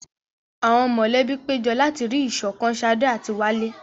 Àwọn mọ̀lẹ́bí péjọ láti rí ìṣọ̀kan Sade àti Wale.